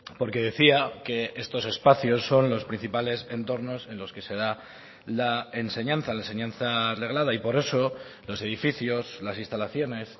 porque decía que estos espacios son los principales entornos en los que se da la enseñanza la enseñanza reglada y por eso los edificios las instalaciones